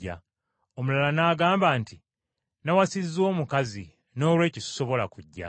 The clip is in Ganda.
“Omulala n’agamba nti, ‘Nnawasizza omukazi noolwekyo sisobola kujja.’